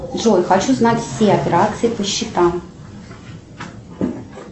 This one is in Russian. джой хочу знать все операции по счетам